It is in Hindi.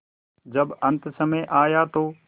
जब अन्तसमय आया तो